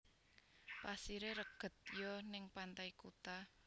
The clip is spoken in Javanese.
Pasire reged yo ning Pantai Kuta